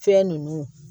Fɛn nunnu